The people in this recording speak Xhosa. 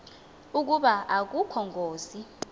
ukuba akukho ngozi